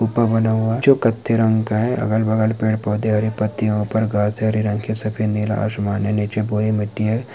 ऊपर बना हुआ जो कत्थई रंग का है अगल-बगल पेड़-पोधे हरे पत्तियों पर घास सारे रंग के सभी नीला आसमान है नीचे पूरी मिट्टी है।